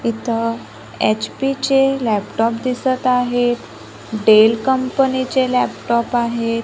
इथं एच_पी चे लॅपटॉप दिसतं आहेत डेल कंपनी चे लॅपटॉप आहेत.